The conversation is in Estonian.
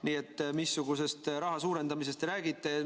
Nii et missugusest raha suurendamisest te räägite?